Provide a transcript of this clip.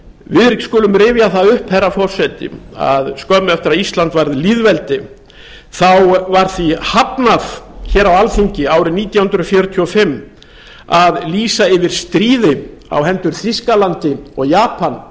við skulum rifja það upp herra forseti að skömmu eftir að ísland varð lýðveldi þá var því hafnað hér á alþing árið nítján hundruð fjörutíu og fimm að lýsa yfir stríði á hendur þýskalandi og japan